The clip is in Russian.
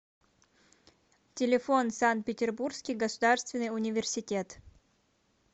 телефон санкт петербургский государственный университет